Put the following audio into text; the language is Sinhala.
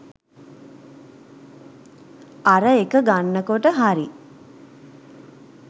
අර එක ගන්න කොට හරි